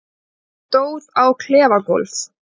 Ég stóð á klefagólf